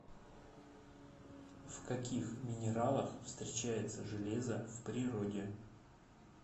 в каких минералах встречается железо в природе